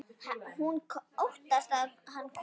Hún óttast að hann komi.